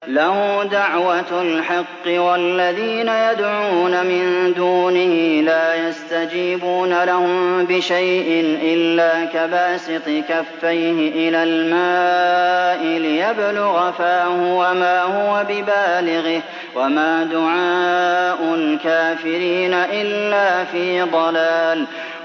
لَهُ دَعْوَةُ الْحَقِّ ۖ وَالَّذِينَ يَدْعُونَ مِن دُونِهِ لَا يَسْتَجِيبُونَ لَهُم بِشَيْءٍ إِلَّا كَبَاسِطِ كَفَّيْهِ إِلَى الْمَاءِ لِيَبْلُغَ فَاهُ وَمَا هُوَ بِبَالِغِهِ ۚ وَمَا دُعَاءُ الْكَافِرِينَ إِلَّا فِي ضَلَالٍ